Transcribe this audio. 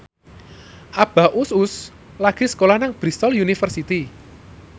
Abah Us Us lagi sekolah nang Bristol university